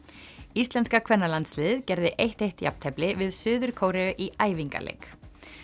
íslenska kvennalandsliðið gerði eitt til eitt jafntefli við Suður Kóreu í æfingaleik